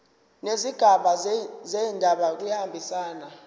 nezigaba zendaba kuyahambisana